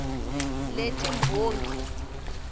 letimbongi